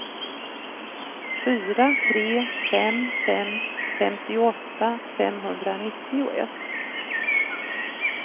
fyra tre fem fem femtioåtta femhundranittioett